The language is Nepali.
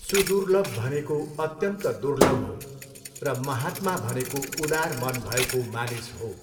सुदुर्लभ भनेको अत्यन्त दुर्लभ हो र महात्मा भनेको उदार मन भएको मानिस हो।